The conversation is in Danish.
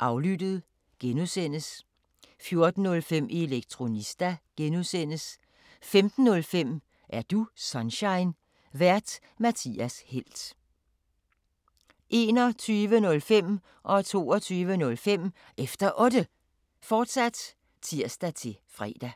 Aflyttet (G) 14:05: Elektronista (G) 15:05: Er du Sunshine? Vært:Mathias Helt 21:05: Efter Otte, fortsat (tir-fre) 22:05: Efter Otte, fortsat (tir-fre)